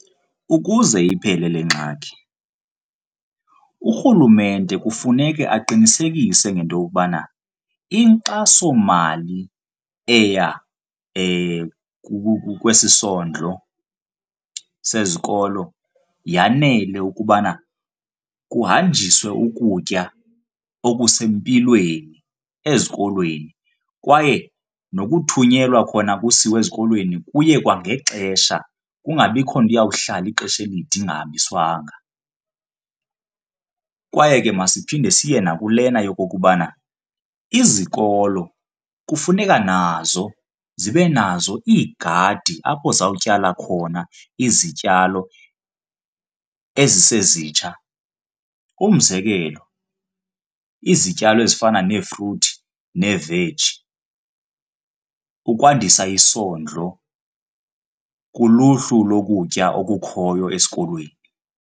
Ukuze iphele le ngxaki urhulumente kufuneke aqinisekise ngento yokubana inkxasomali eya kwesi sondlo sezikolo yanele ukubana kuhanjiswe ukutya okusempilweni ezikolweni kwaye nokuthunyelwa khona kusiwe ezikolweni kuye kwangexesha, kungabikho nto iyawuhlala ixesha elide ingahambiswanga. Kwaye ke masiphinde siye naku lena yokokubana izikolo kufuneka nazo zibe nazo iigadi apho zawutyala khona izityalo ezisezitsha. Umzekelo izityalo ezifana neefruthi neeveji, ukwandisa isondlo kuluhlu lokutya okukhoyo esikolweni.